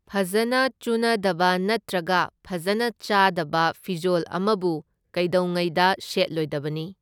ꯐꯖꯅ ꯆꯨꯅꯗꯕ ꯅꯠꯇ꯭ꯔꯒ ꯐꯖꯅ ꯆꯥꯗꯕ ꯐꯤꯖꯣꯜ ꯑꯃꯕꯨ ꯀꯩꯗꯧꯉꯩꯗ ꯁꯦꯠꯂꯣꯏꯗꯕꯅꯤ꯫